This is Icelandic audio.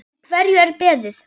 Eftir hverju er beðið?